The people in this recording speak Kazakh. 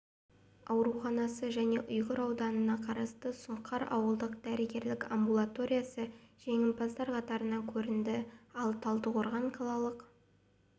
ауруханасы және ұйғыр ауданына қарасты сұңқар ауылдық дәрігерлік амбулаториясы жеңімпаздар қатарынан көрінді ал талдықорған қалалық